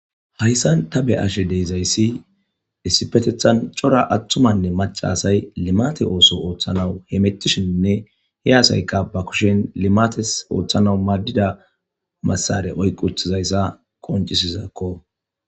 Hayssan ta be'ashshe de'izayssi issippeteththan cora attumanne macca asay limatte ooso ooththanawu hemettishshenne he asaykka ba kushshiyan limatessi ooththanawu madiza massara oyqqi uttidayyssa qonccisses.